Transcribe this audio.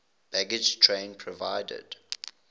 baggage train provided